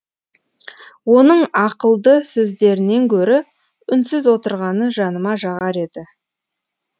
оның ақылды сөздерінен гөрі үнсіз отырғаны жаныма жағар еді